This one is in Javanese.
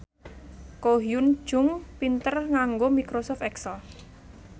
Ko Hyun Jung pinter nganggo microsoft excel